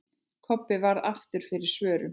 Kobbi varð aftur fyrir svörum.